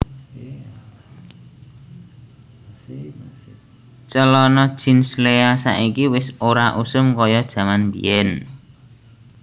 Celono jeans Lea saiki wis ora usum koyo jaman mbiyen